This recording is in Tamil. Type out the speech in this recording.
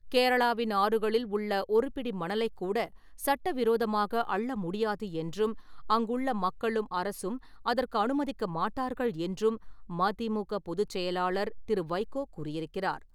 கேரளாவின் ஆறுகளில் உள்ள ஒருபிடி மணலைக் கூட சட்டவிரோதமாக அள்ள முடியாது என்றும், அங்குள்ள மக்களும், அரசும் அதற்கு அனுமதிக்க மாட்டார்கள் என்றும் மதிமுக பொதுச்செயலாளர் திரு. வைகோ கூறியிருக்கிறார்.